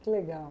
Que legal.